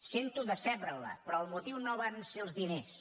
sento decebre la però el motiu no van ser els diners